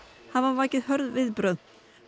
hafa vakið hörð viðbrögð